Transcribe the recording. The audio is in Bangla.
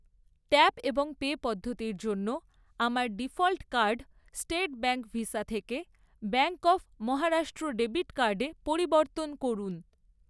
ট্যাপ এবং পে পদ্ধতির জন্য আমার default card state bank visa থেকে ব্যাঙ্ক অব মহারাষ্ট্র ডেবিট কার্ডে পরিবর্তন করুন।